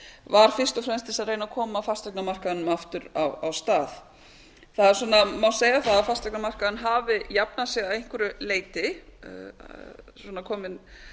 var fyrst og fremst til þess að reyna að koma fasteignamarkaðnum aftur af stað það má segja að fasteignamarkaðurinn hafi jafnað sig að einhverju leyti svona komið